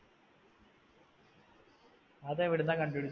അത് എവിടുന്നാ കണ്ടുപിടിച്ചേ